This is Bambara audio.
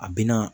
A bɛna